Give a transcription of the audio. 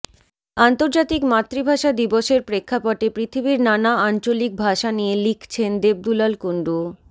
আন্তর্জাতিক মাতৃভাষা দিবসের প্রেক্ষাপটে পৃথিবীর নানা আঞ্চলিক ভাষা নিয়ে লিখছেন দেবদুলাল কুণ্ডু